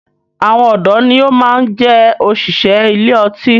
Àwọn ọdọ ni ó máa ń jẹ òṣìṣẹ́ ilé ọtí